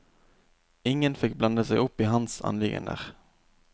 Ingen fikk blande seg opp i hans anliggender.